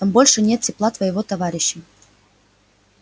там больше нет тепла твоего товарища